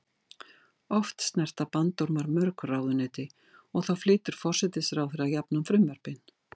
Oft snerta bandormar mörg ráðuneyti og þá flytur forsætisráðherra jafnan frumvörpin.